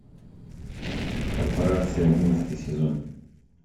корпорация одиннадцатый сезон